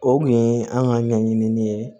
O kun ye an ka ɲɛɲinin ye